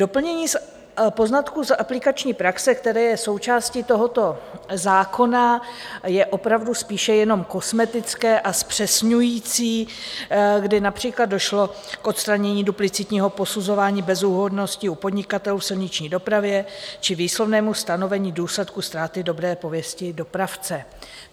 Doplnění poznatků z aplikační praxe, které je součástí tohoto zákona, je opravdu spíše jenom kosmetické a zpřesňující, kdy například došlo k odstranění duplicitního posuzování bezúhonnosti u podnikatelů v silniční dopravě či výslovnému stanovení důsledků ztráty dobré pověsti dopravce.